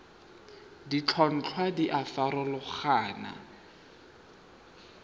ditlhotlhwa di a farologana go